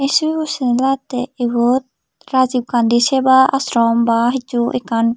sobibo seney lagette iyot Rajiv gandhi seva ashram ba hissu ekkan.